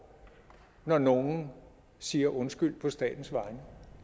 når nogen siger undskyld på statens vegne